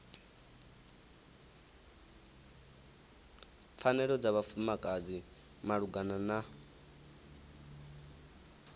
pfanelo dza vhafumakadzi malugana na